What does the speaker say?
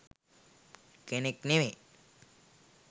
කෙනෙක් නෙමේ.